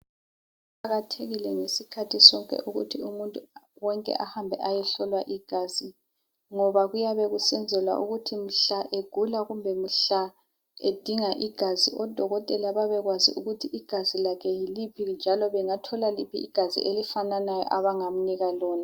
Kuqakathekile ngesikhathi sonke ukuthi umuntu wonke ehambe ayehlolwa igazi ngoba kuyabe kusenzelwa ukuthi mhla egula kumbe mhla edinga igazi odokotela babekwazi ukuthi igazi lakhe yiliphi njalo bengathola liphi igazi elifananayo abangamnika lona.